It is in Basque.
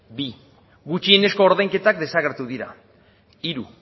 bi gutxienezko ordainketak desagertu dira hiru